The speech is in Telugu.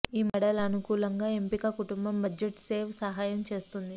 ఈ మోడల్ అనుకూలంగా ఎంపిక కుటుంబం బడ్జెట్ సేవ్ సహాయం చేస్తుంది